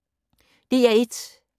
DR1